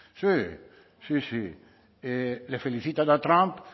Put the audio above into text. sí sí sí le felicitan a trump